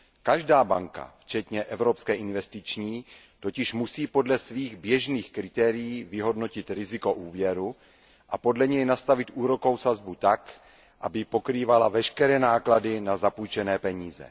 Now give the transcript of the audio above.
Každá banka včetně Evropské investiční banky totiž musí podle svých běžných kritérií vyhodnotit riziko úvěru a podle něj nastavit úrokovou sazbu tak, aby pokrývala veškeré náklady na zapůjčené peníze.